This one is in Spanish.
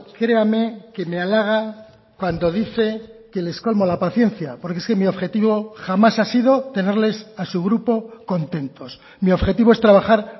créame que me halaga cuando dice que les colmo la paciencia porque es que mi objetivo jamás ha sido tenerles a su grupo contentos mi objetivo es trabajar